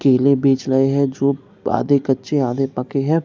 केले बेच रहे हैं जो आधे कच्चे आधे पके है।